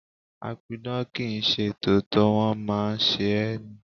A pidàn kì ń ṣe tòótọ́, wón máa ń ṣe é ni.